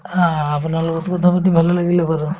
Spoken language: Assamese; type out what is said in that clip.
অ, অ আপোনাৰ লগতো কথাপাতি ভালে লাগিলে বাৰু